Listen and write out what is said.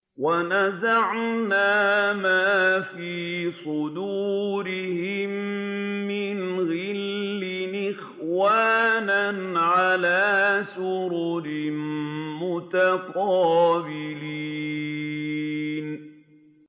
وَنَزَعْنَا مَا فِي صُدُورِهِم مِّنْ غِلٍّ إِخْوَانًا عَلَىٰ سُرُرٍ مُّتَقَابِلِينَ